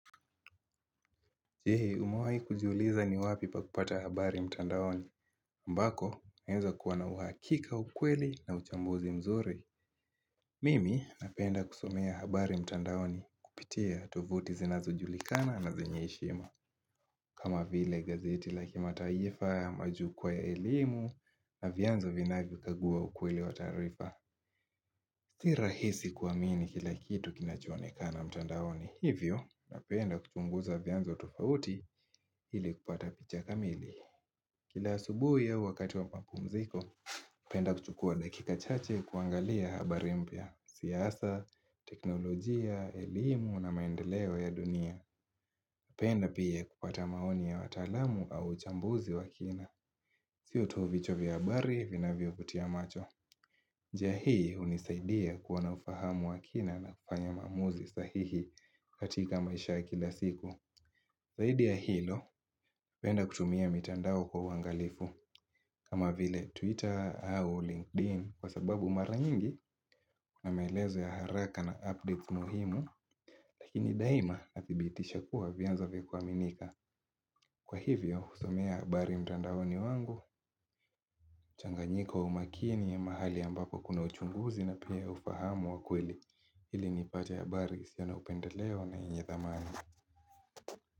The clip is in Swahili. Je, umewahi kujiuliza ni wapi pa kupata habari mtandaoni? Ambako, inaweza kuwa na uhakika, ukweli na uchambuzi mzuri. Mimi, napenda kusomea habari mtandaoni kupitia tovuti zinazo julikana na zenyeheshima. Kama vile gazeti la kimataifa, ama jukwaa ya elimu, na vyanzo vinavyo kagua ukweli wa taarifa. Si rahisi kuamini kila kitu kinachoonekana mtandaoni. Hivyo, napenda kuchunguza vyanzo tofauti ili kupata picha kamili. Kila asubuhi au wakati wa ma pumziko, napenda kuchukua dakika chache kuangalia habari mpya, siasa, teknolojia, elimu na maendeleo ya dunia. Penda pia kupata maoni ya wataalamu au uchambuzi wa kina. Siyo tu vichwa vya habari vinavyo vutia macho. Njia hii hunisaidia kuwa na ufahamu wa kina na kufanya maamuzi sahihi katika maisha ya kila siku. Zaidi ya hilo, penda kutumia mitandao kwa uwangalifu. Kama vile Twitter au LinkedIn kwa sababu mara nyingi ina maelezo ya haraka na update muhimu lakini daima na thibitisha kuwa vyanzo vya kuaminika. Kwa hivyo, husomea habari mtandaoni wangu, changanyiko umakini ya mahali ambako kuna uchunguzi na pia ufahamu wa kweli. Ili nipate habari, isiyo na upendeleo na inye thamani.